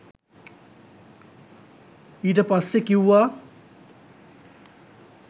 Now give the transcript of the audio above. ඊට පස්සේ කිව්වා